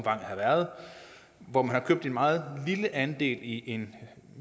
har været hvor man har købt en meget lille andel i en